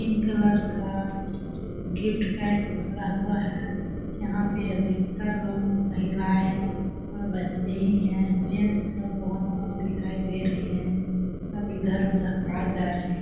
Pink colour का gift pack पकड़ा हुआ है यहाँ पे वेटर लोग महिलाएँ और बच्चे ही है जेंट्स लोग बहुत कम दिखाई दे रहे है सब इधर-उधर आ जा रहे है।